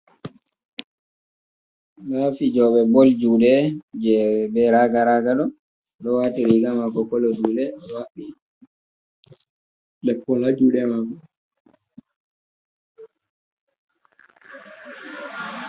Nda fijoɓe bol juɗe je be raga raga ɗo do wati riga mako kolo jude oɗo haɓɓi lekola ja juɗe mako.